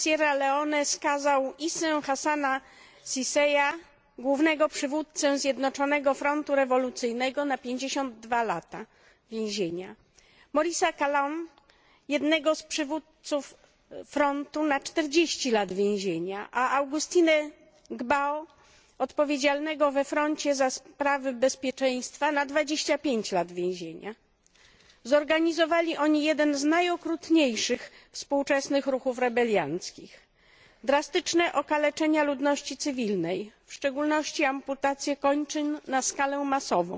Sierra Leone skazał Issę Hassana Sesaya, głównego przywódcę Zjednoczonego Frontu Rewolucyjnego, na 52 lata więzienia, Morrisa Kallona, jednego z przywódców Frontu, na 40 lat więzienia, a Augustinea Gbao, odpowiedzialnego we Froncie za sprawy bezpieczeństwa, na 25 lat więzienia. Zorganizowali oni jeden z najokrutniejszych współczesnych ruchów rebelianckich. Drastyczne okaleczenia ludności cywilnej, w szczególności amputacje kończyn na skalę masową,